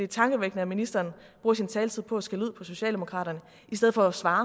tankevækkende at ministeren bruger sin taletid på at skælde ud på socialdemokratiet i stedet for at svare